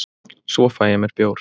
svo fæ ég mér bjór